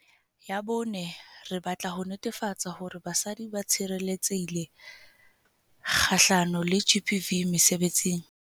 Ya bone, re batla ho netefatsa hore basadi ba tshireletsehile kgahlano le GBV mesebetsing.